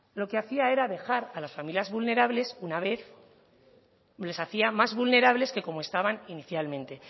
lo que hacía era dejar a las familias vulnerables una vez les hacía más vulnerables que como estaban inicialmente